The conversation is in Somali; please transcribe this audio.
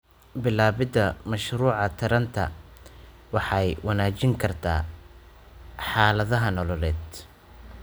Bilaabida mashruuca taranta waxay wanaajin kartaa xaaladaha nololeed.